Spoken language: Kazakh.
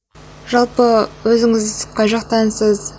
жалпы өзіңіз қай жақтансыз